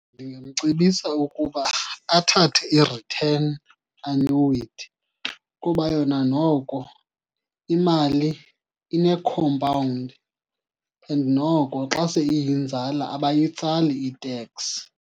Ndingamcebisa ukuba athathe i-return annuity kuba yona noko imali ine-compound and noko xa seyiyinzala abayitsali iteks.